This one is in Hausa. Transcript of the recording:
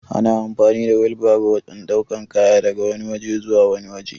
Ana amfani da wilbairo wajan ɗaukan kaya daga wani waje zuwa wani waje